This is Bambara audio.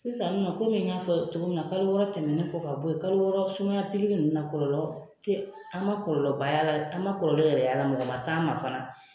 Sisan nɔ komi n y'a fɔ cogo min na kalo wɔɔrɔ tɛmɛni kɔ ka bɔ ye kalo wɔɔrɔ sumaya pikiri ninnu na kɔlɔlɔ tɛ an man kɔlɔlɔ ba y'a la an man kɔlɔlɔ yɛrɛ y'a la mɔgɔ man s'an ma fana.